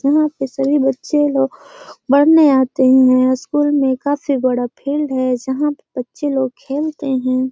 यहाँ पे सभी बच्चे लोग पढ़ने आते हैं। स्कूल में काफी बड़ा फील्ड है जहां पे बच्चे लोग खेलते हैं।